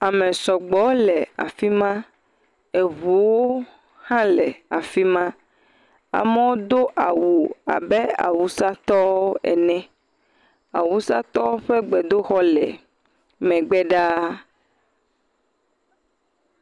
Ame sɔgbɔ le afi ma eŋuwo hã le afi ma. Amewo do awu abe Awusatɔwo ene. Awusatɔwo ƒe gbedoxɔ le megbe ɖaa.